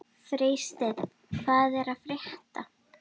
Freysteinn, hvað er að frétta?